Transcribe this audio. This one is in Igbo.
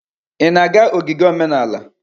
Ị na-aga ogige omenala?